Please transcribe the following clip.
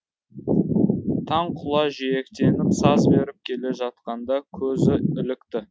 таң құла жиектеніп саз беріп келе жатқанда көзі ілікті